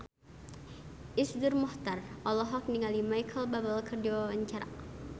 Iszur Muchtar olohok ningali Micheal Bubble keur diwawancara